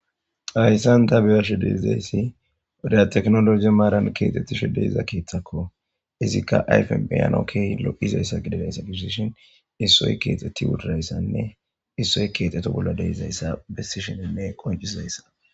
Hayssan ta biyarsh deidayssi reyateknologi maaran keexxettishe deiza keeththakko izikka ayfen beyanokkiy lo,izayssa gididayssa gissishin issoy keexxetti wudadayssanne issoy keexxeto bolla deizayssa bessi sheninne qoncisizayssa.